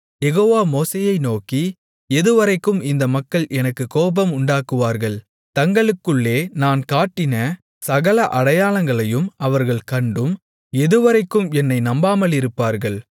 யெகோவா மோசேயை நோக்கி எதுவரைக்கும் இந்த மக்கள் எனக்குக் கோபம் உண்டாக்குவார்கள் தங்களுக்குள்ளே நான் காட்டின சகல அடையாளங்களையும் அவர்கள் கண்டும் எதுவரைக்கும் என்னை நம்பாமலிருப்பீர்கள்